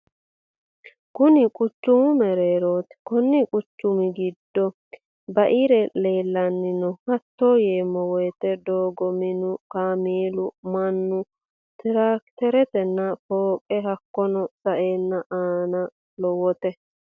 Kunni quchumu mereerroti konni quchumu giddo ba'erri leelani no hatto yeemowoyiite doogo, minu, kaamelu, mannu, tirakiterrenna fooqqe hakiino sa'eena aano lowote.